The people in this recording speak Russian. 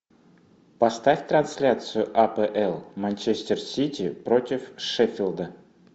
поставь трансляцию апл манчестер сити против шеффилда